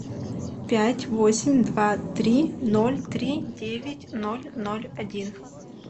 пять восемь два три ноль три девять ноль ноль один